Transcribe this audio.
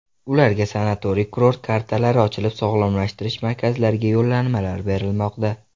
Ularga sanatoriy-kurort kartalari ochilib, sog‘lomlashtirish markazlariga yo‘llanmalar berilmoqda.